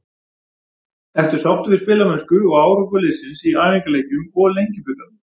Ertu sáttur við spilamennsku og árangur liðsins í æfingaleikjum og Lengjubikarnum?